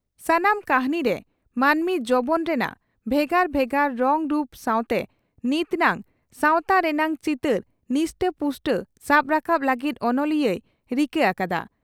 ᱥᱟᱱᱟᱢ ᱠᱟᱹᱦᱱᱤ ᱨᱮ ᱢᱟᱹᱱᱢᱤ ᱡᱚᱵᱚᱱ ᱨᱮᱱᱟᱜ ᱵᱷᱮᱜᱟᱨ ᱵᱷᱮᱜᱟᱨ ᱨᱚᱝ ᱨᱩᱯ ᱥᱟᱣᱛᱮ ᱱᱤᱛ ᱱᱟᱝ ᱥᱟᱣᱛᱟ ᱨᱮᱱᱟᱜ ᱪᱤᱛᱟᱹᱨ ᱱᱤᱥᱴᱟᱹ ᱯᱩᱥᱴᱟᱹ ᱥᱟᱵ ᱨᱟᱠᱟᱵ ᱞᱟᱹᱜᱤᱫ ᱚᱱᱚᱞᱤᱭᱟᱹᱭ ᱨᱤᱠᱟᱹ ᱟᱠᱟᱫᱼᱟ ᱾